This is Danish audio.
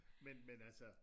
Men men altså